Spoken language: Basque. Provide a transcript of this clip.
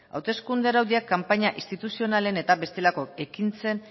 hauteskunde araudiak kanpaina instituzionalen eta bestelako ekintzen